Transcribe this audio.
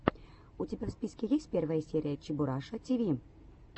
у тебя в списке есть первая серия чебураша тиви